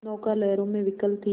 नौका लहरों में विकल थी